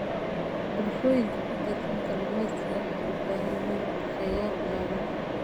Bulshooyinka ku tiirsan kaluumeysiga waxay u baahan yihiin qorsheyaal ilaalin ah.